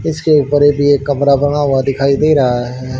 इसके ऊपर ये भी एक कमरा बना हुआ दिखाई दे रहा है।